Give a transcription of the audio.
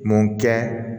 Mun kɛ